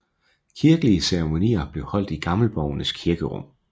Kirkelige ceremonier blev holdt i Gammelborgens kirkerum